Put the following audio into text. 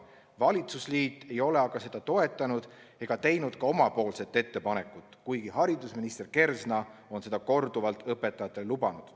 Valitsusliit ei ole aga seda toetanud ega teinud ka omapoolset ettepanekut, kuigi haridusminister Kersna on seda korduvalt õpetajatele lubanud.